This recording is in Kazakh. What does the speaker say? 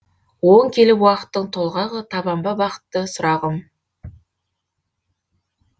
оң келіп уақыттың толғағы табам ба бақытты сұрағым